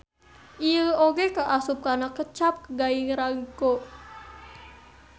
Ieu oge kaasup kana kecap gairaigo.